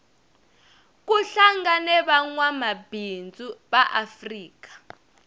kuhlangene vangwamabindzu vaafrika